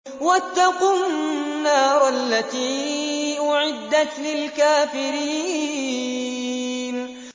وَاتَّقُوا النَّارَ الَّتِي أُعِدَّتْ لِلْكَافِرِينَ